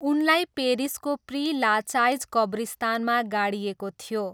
उनलाई पेरिसको Pere Lachaise कब्रिस्तानमा गाडिएको थियो।